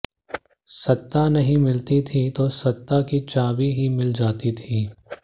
सत्ता नहीं मिलती थी तो सत्ता की चाबी ही मिल जाती थी